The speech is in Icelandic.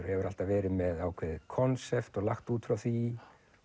hefur alltaf verið með ákveðið konsept og lagt út frá því